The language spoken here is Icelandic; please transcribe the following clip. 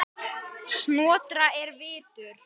Snotra er vitur